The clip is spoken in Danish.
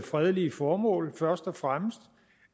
fredelige formål først og fremmest